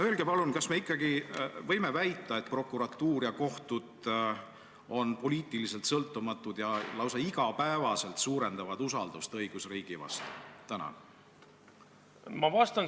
Öelge palun, kas me ikkagi võime väita, et prokuratuur ja kohtud on poliitiliselt sõltumatud ja lausa iga päev suurendavad usaldust õigusriigi vastu!